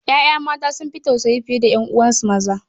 Ƴaƴa mata sun fi tausayi fiye da 'yan'uwansu maza.